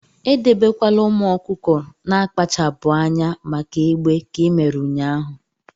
edebekwala ụmụ ọkụkọ na-akpachapụ anya maka egbe ka i mere ụnyahụ!